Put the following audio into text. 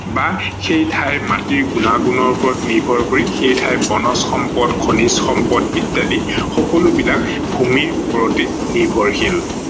বা সেই ঠাইৰ মাটিৰ গুণাগুণৰ ওপৰত নিৰ্ভৰ কৰি সেই ঠাইৰ বনজ সম্পদ, খনিজ সম্পদ ইত্যাদি সকলোবিলাক ভূমিৰ ওপৰতে নিৰ্ভৰশীল।